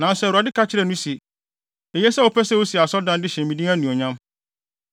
Nanso Awurade ka kyerɛɛ no se, ‘Eye sɛ wopɛ sɛ wusi asɔredan de hyɛ me din anuonyam,